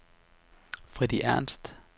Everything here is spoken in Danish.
Freddy Ernst